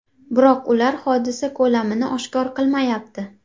Biroq ular hodisa ko‘lamini oshkor qilmayapti.